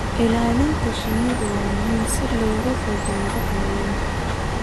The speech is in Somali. Ilaalinta shinnidu waa muhiim si looga fogaado cayayaanka.